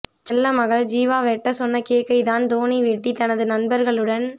செல்ல மகள் ஜிவா வெட்ட சொன்ன கேக்கை தான் தோனி வெட்டி தனது நண்பர்களுடன்